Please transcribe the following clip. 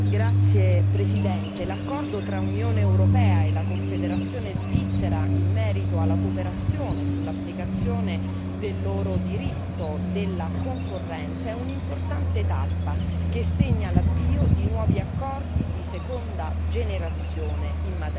Signora Presidente, l'accordo tra Unione europea e Confederazione svizzera in merito alla cooperazione sull'applicazione del loro diritto della concorrenza è un'importante tappa che segna l'avvio di nuovi accordi di seconda generazione in materia.